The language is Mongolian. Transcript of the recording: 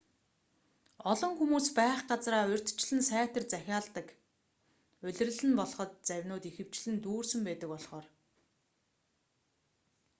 олон хүмүүс байх газраа урьдчилан сайтар захиалдаг улирал нь болход завинууд ихэвчлэн дүүрсэн байдаг болхоор